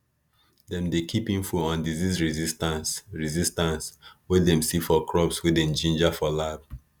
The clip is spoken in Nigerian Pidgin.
dem dey keep info on disease resistance resistance wey dem see for crops wey dem ginger for lab